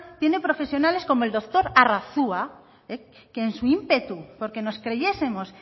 tienen profesionales como el doctor arrazua que en su ímpetu porque nos creyesemos